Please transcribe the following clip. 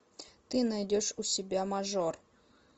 ты найдешь у себя мажор